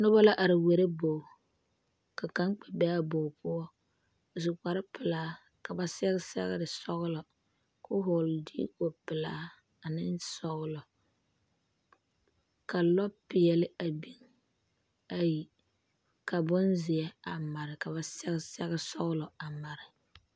Noba la are wɛɛrɛ bogi, ka kaŋ kpɛ be a bogi poɔ a su kpare sɔglɔ ka ba sɛge sɛgere sɔglɔ kɔɔ vɔgeli zutarre pelaa ane sɔglɔ ka lɔɔ pɛɛle ayi a biŋ be, ka bonzeɛ a mare ka ba sɛge sɛge sɔglɔ a mare.